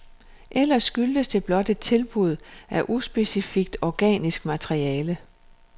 Eller skyldes det blot et tilbud af uspecifikt organisk materiale?